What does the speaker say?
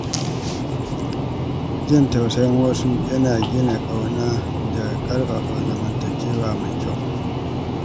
Jin tausayin wasu yana gina ƙauna da ƙarfafa zamantakewa mai kyau.